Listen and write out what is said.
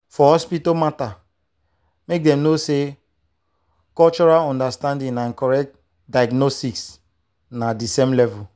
for hospital matter make dem know say cultural understanding and correct diagnosis na the same level.